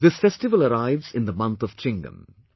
This festival arrives in the month of Chingam